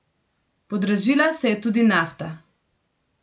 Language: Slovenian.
Podražila se je tudi nafta.